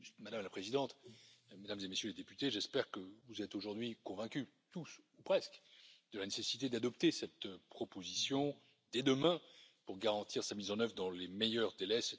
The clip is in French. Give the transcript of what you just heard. Madame la Présidente, Mesdames et Messieurs les députés, j'espère que vous êtes aujourd'hui convaincus, tous ou presque, de la nécessité d'adopter cette proposition dès demain pour garantir sa mise en œuvre dans les meilleurs délais.